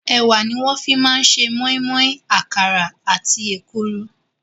Ẹ̀wà ni wọ́n fi máa ń ṣe moinmoin, àkàrà àti èkuru.